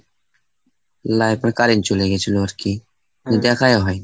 life এর current চলে গেছিলো আরকি, দিয়ে দেখাই হয়নি।